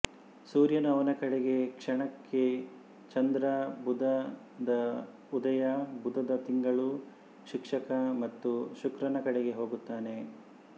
ಸೂರ್ಯನು ಅವನ ಕಡೆಗೆ ಕ್ಷಣಕ್ಕೆ ಚಂದ್ರ ಬುಧದ ಉದಯ ಬುಧದ ತಿಂಗಳು ಶಿಕ್ಷಕ ಮತ್ತು ಶುಕ್ರನ ಕಡೆಗೆ ಹೋಗುತ್ತಾನೆ